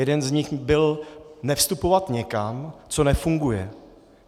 Jeden z nich byl - nevstupovat někam, co nefunguje.